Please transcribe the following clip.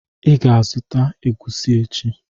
I ga-azụta egwusi echi.